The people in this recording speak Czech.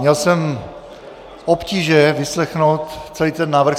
Měl jsem obtíže vyslechnout celý ten návrh.